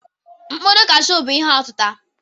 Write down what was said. Mkpụrụ kashụ bụ ihe ọtịta.